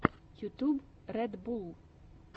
ютюб ред булл